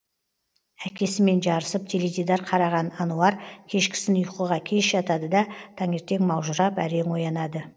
әкесімен жарысып теледидар қараған ануар кешкісін ұйқыға кеш жатады да таңертең маужырап әрең оянады